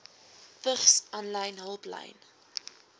vigs aanlyn hulplyn